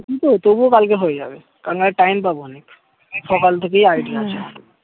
ঐতো তবুও কালকে হয়ে যাবে কালকে আর time পাবনী সকাল থেকেই ID হম হম আছে